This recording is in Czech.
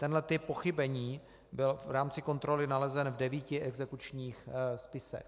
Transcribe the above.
Tenhle typ pochybení byl v rámci kontroly nalezen v devíti exekučních spisech.